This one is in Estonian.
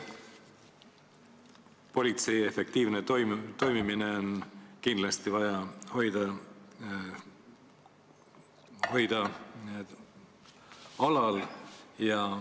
Politsei efektiivne toimimine on kindlasti vaja alal hoida.